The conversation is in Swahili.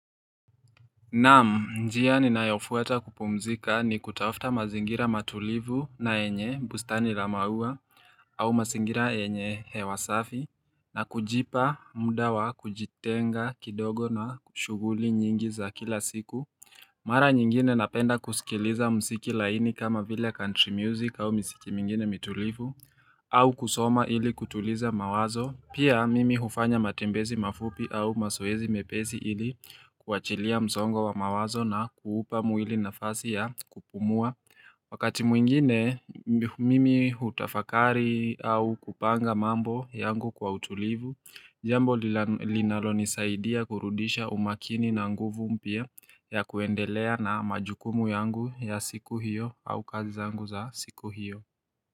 Naam, njia ninayofuata kupumzika ni kutafta mazingira matulivu na yenye, bustani la maua, au masingira yenye hewa safi, na kujipa mda wa kujitenga kidogo na kushuguli nyingi za kila siku. Mara nyingine napenda kusikiliza msiki laini kama vile country music au misiki mingine mitulivu, au kusoma ili kutuliza mawazo. Pia mimi hufanya matembezi mafupi au masoezi mepezi ili kuachilia msongo wa mawazo na kuupa muili nafasi ya kupumua Wakati mwingine mimi utafakari au kupanga mambo yangu kwa utulivu Jambo linalonisaidia kurudisha umakini na nguvu mpia ya kuendelea na majukumu yangu ya siku hiyo au kazi zangu za siku hiyo.